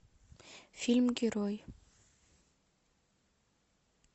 фильм герой